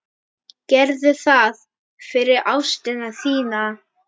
Gerðu það fyrir ástina þína.